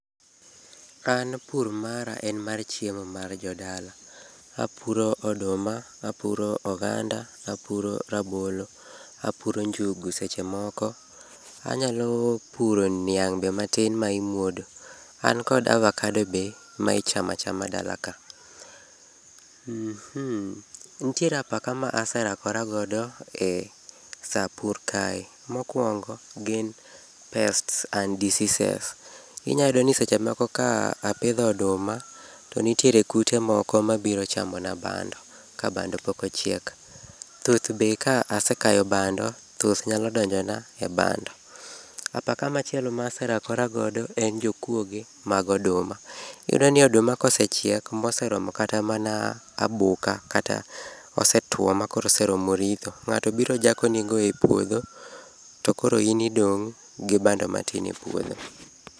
An pur mara en mar chiemo mar jodala. Apuro oduma, apuro oganda, apuro rabolo, apuro njugu seche moko. Anyalo puro niang' be matin ma imuodo. An kod avocado be ma ichamo achama dalaka.[Mmhh]. Nitiere apaka ma asarakora godo e saa pur kae. Mokuongo gin pests and diseases. Inyayudo ni seche moko ka apidho oduma to nitiere kute moko mabiro chamona bando, ka bando pok ochiek. Thuth be ka asekayo bando, thuth nyalo donjona e bando. Apaka machielo ma aserakora godo en jokuoge mag oduma. Iyudo ni oduma ka osechiek moseromo kata mana aboka kata osetuo ma koro oseromo ritho, ng'ato biro jakonigo e puodho, to koro in idong' gi bado matin e puodho.